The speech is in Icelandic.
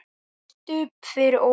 FYRIR STUBB fyrir ofan.